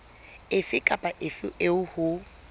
efe kapa efe eo ho